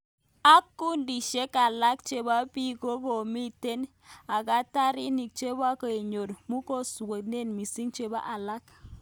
Ek kundishek alak cheboo biik komitek eghatarinit cheboo konyor mugojweshek misik cheboo alak.